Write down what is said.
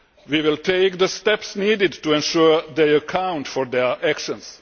We will take the steps needed to ensure they account for their actions.